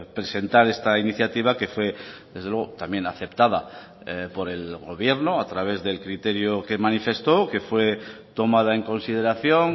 presentar esta iniciativa que fue desde luego también aceptada por el gobierno a través del criterio que manifestó que fue tomada en consideración